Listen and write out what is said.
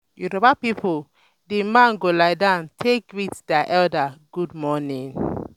yoruba pipo di man go lie down take greet dia elders gud morning